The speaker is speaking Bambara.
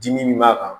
Dimi min b'a kan